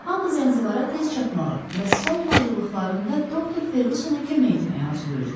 Hamı Zənzibara tez çatmağa və son hazırlığında Doktor Ferqüsona kömək etməyə arzulayırdı.